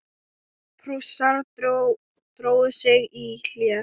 Prússar drógu sig í hlé.